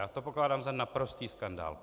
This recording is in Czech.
Já to pokládám za naprostý skandál.